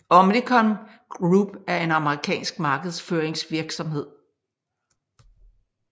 Omnicom Group er en amerikansk markedsføringsvirksomhed